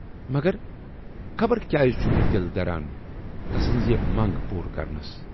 مگر! خبر کیازِ چھُم نہٕ دِل دران تسٕنز یہِ مَنگ پوٗرٕ کرنَس۔